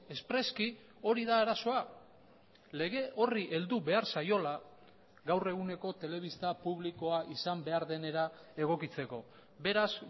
espreski hori da arazoa lege horri heldu behar zaiola gaur eguneko telebista publikoa izan behar denera egokitzeko beraz